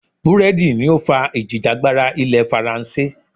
Búrẹ́dì ni ó fà ìjìjàgbara ilẹ̀ faransé.